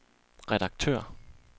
redaktør